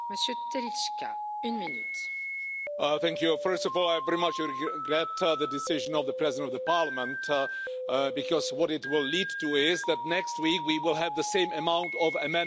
Madam President, first of all, I very much regret the decision of the President of the Parliament, because what it will lead to is that next week we will have the same amount of amendments tabled again.